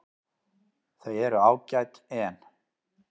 Þau eru ágæt en.